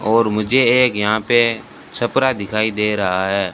और मुझे एक यहां पे छपरा दिखाई दे रहा है।